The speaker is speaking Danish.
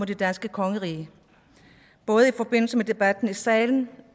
det danske kongerige både i forbindelse med debatten i salen